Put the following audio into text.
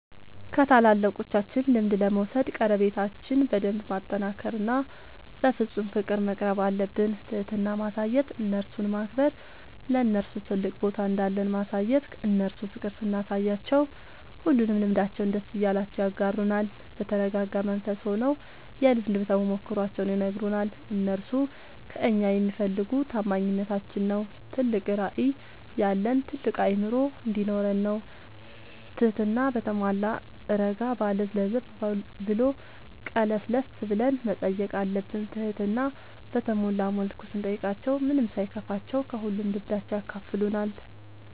ከታላላቆቻችን ልምድ ለመውሰድ ቀረቤታችን በደንብ ማጠናከር እና በፍፁም ፍቅር መቅረብአለብን። ትህትና ማሳየት እነርሱን ማክበር ለነርሱ ትልቅ ቦታ እንዳለን ማሳየት እነርሱ ፍቅር ስናሳያቸው ሁሉንም ልምዳቸውን ደስ እያላቸው ያጋሩናል። በተረጋጋ መንፈስ ሆነው የልምድ ተሞክሯቸውን ይነግሩናል። እነርሱ ከእኛ የሚፈልጉ ታማኝነታችን ነው ትልቅ ራዕይ ያለን ታልቅ አእምሮ እንዲኖረን ነው ትህትና በተሟላ እረጋ ባለ ለዘብ ብሎ ቀለስለስ ብለን መጠየቅ አለብን ትህትና በተሞላ መልኩ ስንጠይቃቸው ምንም ሳይከፋቸው ከሁሉም ልምዳቸው ያካፍሉናል።